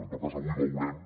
en tot cas avui veurem